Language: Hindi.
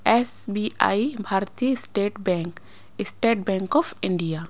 एस_बी_आई भारतीय state bank state bank of India.